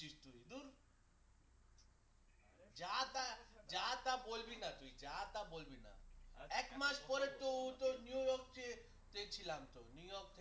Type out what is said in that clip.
যাতা যাতা বলবিনা তুই যা তা বলবি না এক মাস পরে তো তোর নিউইয়র্ক যে দেখছিলাম তোর নিউইয়র্ক